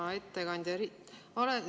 Hea ettekandja!